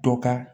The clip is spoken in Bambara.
Dɔ ka